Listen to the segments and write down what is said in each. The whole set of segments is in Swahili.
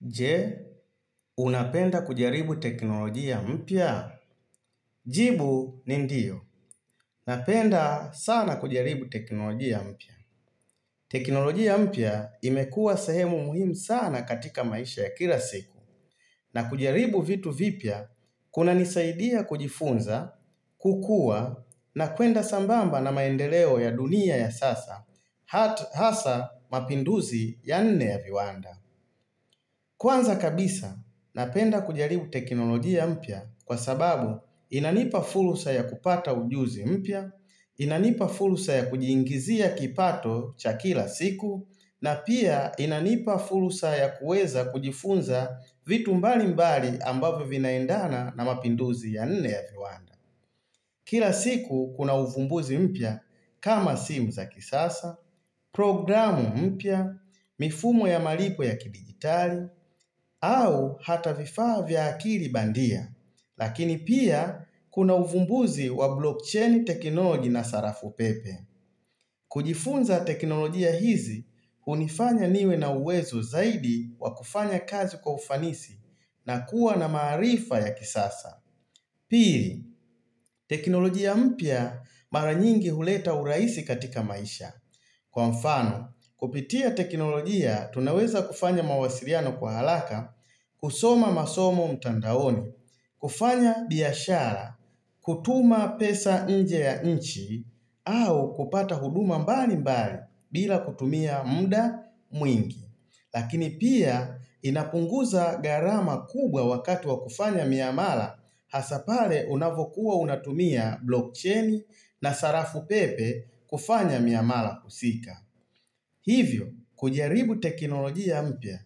Je, unapenda kujaribu teknolojia mpya? Jibu ni ndio. Napenda sana kujaribu teknolojia mpya. Teknolojia mpya imekua sehemu muhimu sana katika maisha ya kila siku. Na kujaribu vitu vipya, kuna nisaidia kujifunza, kukua, na kwenda sambamba na maendeleo ya dunia ya sasa, hata hasa mapinduzi ya nne ya viwanda. Kwanza kabisa, napenda kujaribu teknolojia mpya kwa sababu inanipa fursa ya kupata ujuzi mpya, inanipa fursa ya kujiingizia kipato cha kila siku, na pia inanipa fursa ya kueza kujifunza vitu mbali mbali ambavyo vinaendana na mapinduzi ya nne ya viwanda. Kila siku kuna uvumbuzi mpya kama simu za kisasa, programu mpya, mifumo ya malipo ya kidigitali, au hata vifaa vya akili bandia. Lakini pia kuna uvumbuzi wa blockchain teknoloji na sarafu pepe. Kujifunza teknolojia hizi, hunifanya niwe na uwezo zaidi wa kufanya kazi kwa ufanisi na kuwa na maarifa ya kisasa. Pili, teknolojia mpya mara nyingi huleta uraisi katika maisha. Kwa mfano, kupitia teknolojia tunaweza kufanya mawasiliano kwa haraka, kusoma masomo mtandaoni, kufanya biashara, kutuma pesa nje ya inchi, au kupata huduma mbali mbali bila kutumia mda mwingi. Lakini pia inapunguza gharama kubwa wakati wa kufanya miamala hasa pale unavyokuwa unatumia blockchain na sarafu pepe kufanya miamala husika Hivyo, kujaribu teknolojia mpya,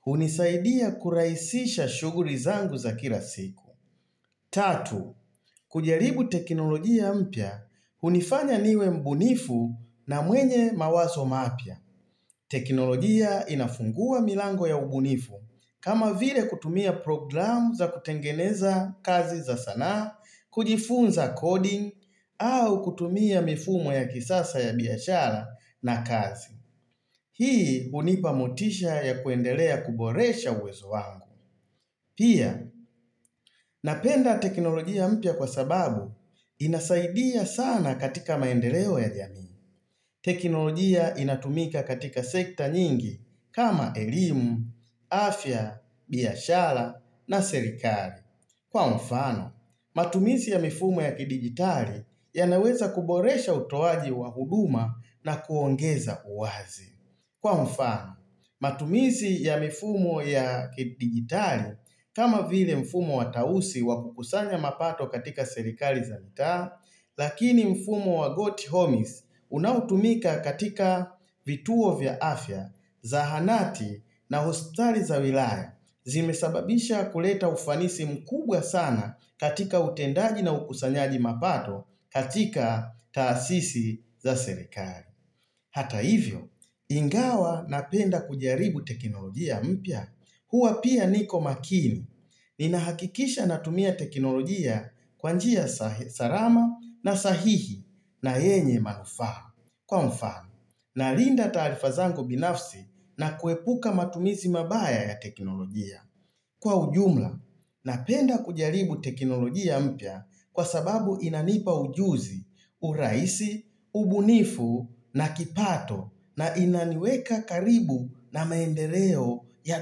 hunisaidia kurahisisha shugli zangu za kila siku Tatu, kujaribu teknolojia mpya, hunifanya niwe mbunifu na mwenye mawazo mapya teknolojia inafungua milango ya ubunifu kama vile kutumia program za kutengeneza kazi za sanaa, kujifunza coding au kutumia mifumo ya kisasa ya biashara na kazi. Hii hunipa motisha ya kuendelea kuboresha uwezo wangu. Pia, napenda teknolojia mpya kwa sababu inasaidia sana katika maendeleo ya jamii. Teknolojia inatumika katika sekta nyingi kama elimu, afya, biashara na serikali. Kwa mfano, matumizi ya mifumo ya kidigitali yanaweza kuboresha utowaji wa huduma na kuongeza uwazi. Kwa mfano, matumizi ya mfumo ya digitali kama vile mfumo wa tausi wakukusanya mapato katika serikali za mitaa, lakini mfumo wa goti homies unautumika katika vituo vya afya, zahanati na hospitali za wilaya zimesababisha kuleta ufanisi mkubwa sana katika utendaji na ukusanyaji mapato katika taasisi za serikali. Hata hivyo, ingawa napenda kujaribu teknolojia mpya huwa pia niko makini ni nahakikisha natumia teknolojia kwa njia salama na sahihi na yenye manufaa. Kwa mfano, nalinda taarifa zangu binafsi na kuepuka matumizi mabaya ya teknolojia. Kwa ujumla, napenda kujaribu teknolojia mpya kwa sababu inanipa ujuzi, uraisi, ubunifu na kipato na inaniweka karibu na maendeleo ya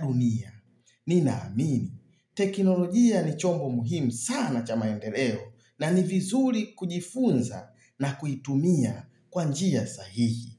dunia. Nina amini. Teknolojia ni chombo muhimu sana cha maendeleo na ni vizuri kujifunza na kuitumia kwa njia sahihi.